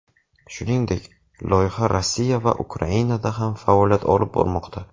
Shuningdek, loyiha Rossiya va Ukrainada ham faoliyat olib bormoqda.